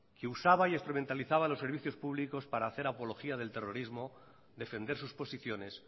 que usaba e instrumentalizaba los servicios públicos para hacer apología del terrorismo defender sus posiciones